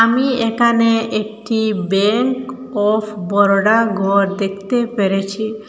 আমি এখানে একটি ব্যাংক অফ বরোডা গর দেখতে পেরেছি।